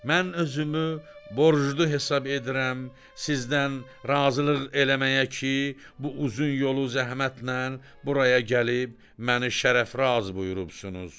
Mən özümü borclu hesab edirəm sizdən razılıq eləməyə ki, bu uzun yolu zəhmətnən buraya gəlib məni şərəfraz buyurubsunuz.